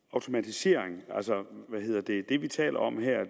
automatisering altså det vi taler om her